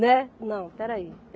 Né, não, espera aí.